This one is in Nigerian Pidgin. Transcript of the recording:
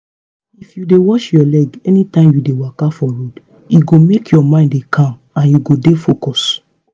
if u dey watch ur leg anytime u dey waka for road e go make ur mind dey calm and u go dey focused